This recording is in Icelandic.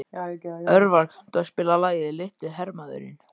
Örvar, kanntu að spila lagið „Litli hermaðurinn“?